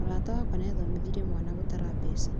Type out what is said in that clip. Mũrata wakwa nĩathomithirie mwana gũtara mbeca